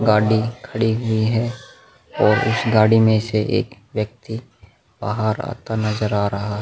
गाड़ी खड़ी हुई है और उस गाड़ी में से एक व्यक्ति बाहर आता नजर आ रहा --